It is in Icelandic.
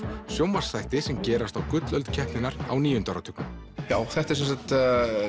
sjónvarpsþætti sem gerast á gullöld keppninnar á níunda áratugnum já þetta er